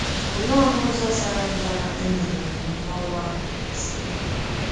Olee ọnụ ụzọ sara mbara e megheere onye ọrụ ahụ Olise?